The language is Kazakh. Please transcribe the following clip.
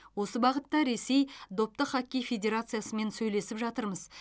осы бағытта ресей допты хоккей федерациясымен сөйлесіп жатырмыз